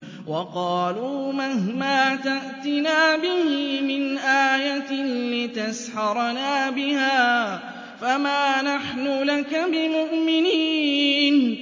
وَقَالُوا مَهْمَا تَأْتِنَا بِهِ مِنْ آيَةٍ لِّتَسْحَرَنَا بِهَا فَمَا نَحْنُ لَكَ بِمُؤْمِنِينَ